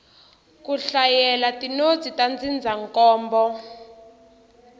ku hlayela tinotsi ta ndzindzakhombo